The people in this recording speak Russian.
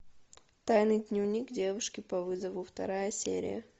тайный дневник девушки по вызову вторая серия